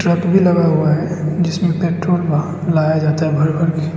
Truck भी लगा हुआ है जिसमें पेट्रोल लाया जाता है भर भर के।